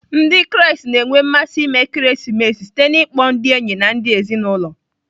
Ndị Kraịst na-enwe mmasị ime ekeresimesi site n'ịkpọ ndị enyi na ndị ezinụlọ.